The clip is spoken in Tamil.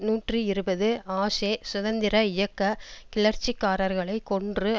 நூற்றி இருபது ஆஷே சுதந்திர இயக்க கிளர்ச்சிக்காரர்களை கொன்று